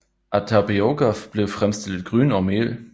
Af tapioka blev fremstillet gryn og mel